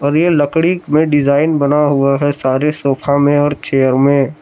और ये लकड़ी में डिजाइन बना हुआ है सारे सोफा में और चेयर में।